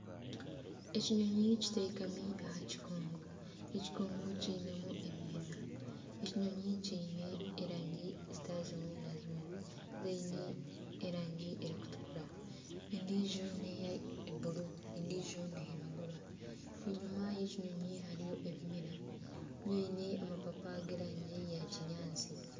Ekinyonyi kiteekami aha kikungu, ekikungu kiine emiina. Ekinyonyi kiine erangi zitari zimwe na zimwe. Ziine erangi erikutukura endiijo n'eya bururu ediijo n'eiragura. Enyima y'ekinyonyi hariyo ebimera biine amapapa g'erangi ya kinyaatsi.